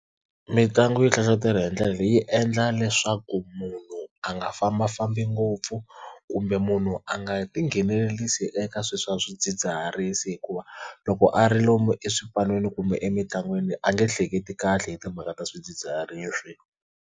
Mitlangu yo hlohlotelo hi ndlela leyi yi endla leswaku munhu a nga fambafambi ngopfu kumbe munhu a nga tinghenelerisa eka swilo swa swidzidziharisi hikuva loko a ri lomu exipan'weni kumbe emitlangwini a nge hleketi kahle hi timhaka ta swidzidziharisi.